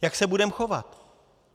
Jak se budeme chovat?